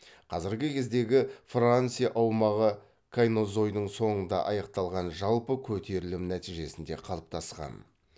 қазіргі кездегі франция аумағы кайнозойдың соңында аяқталған жалпы көтерілім нәтижесінде қалыптасқан